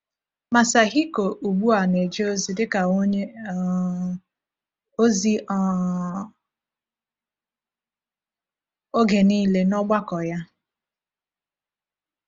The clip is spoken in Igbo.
Masahiko ugbu a na-eje ozi dị ka onye um ozi um oge niile n’ọgbakọ ya.